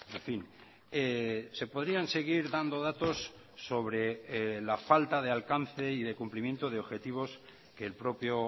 en fin se podrían seguir dando datos sobre la falta de alcance y de cumplimiento de objetivos que el propio